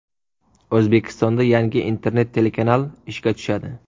O‘zbekistonda yangi internet telekanal ishga tushadi.